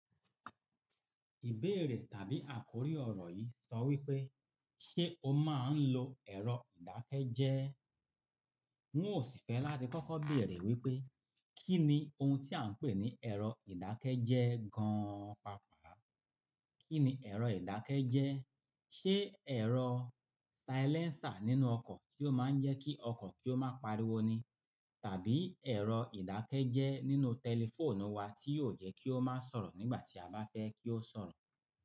Ìbéèrè tàbí àkórí ọ̀rọ̀ yìí sọ wí pé, ṣé o máa ń lo ẹ̀rọ ìdákẹ́jẹ́? N ó sì fẹ́ láti kọ́kọ́ béèrè wípé, kí ni ohun tí à ń pè ní ẹ̀rọ ìdákẹ́jẹ́ gan-an pàápàá? Kí ni ẹ̀rọ ìdákẹ́jẹ́? Ṣé ẹ̀rọ silencer nínú ọkọ̀ kí ó máa ń jẹ́ kí ọkọ̀ kí ó máa pariwo ni? Tàbí ẹ̀rọ ìdákẹ́jẹ́ nínú tẹlifóònù wa tí yóò jẹ́ kí ó máa sọ̀rọ̀ nígbà tí a bá fẹ́ kí ó sọ̀rọ̀?